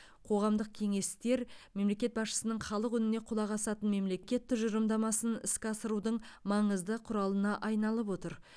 қоғамдық кеңестер мемлекет басшысының халық үніне құлақ асатын мемлекет тұжырымдамасын іске асырудың маңызды құралына айналып отыр